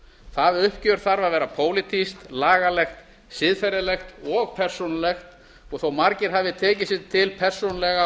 það uppgjör þarf að vera pólitískt lagalegt siðferðilegt og persónulegt og þó að margir hafi tekið sig til persónulega